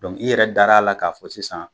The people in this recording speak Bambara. Dɔnku i yɛrɛ dara a la k'a fɔ sisan.